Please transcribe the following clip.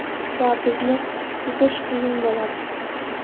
Va bizni yutish qiyin bo‘ladi.